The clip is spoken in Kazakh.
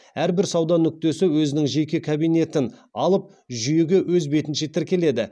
әрбір сауда нүктесі өзінің жеке кабинетін алып жүйеге өз бетінше тіркеледі